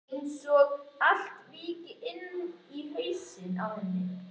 Einsog allt víkki inni í hausnum á henni.